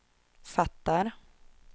fattar